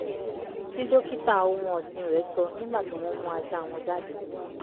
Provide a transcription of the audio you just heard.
tí dókítà ohun ọ̣̀sìn rẹ̀ sọ nígbà tí wọ́n mú ajáa wọn jáde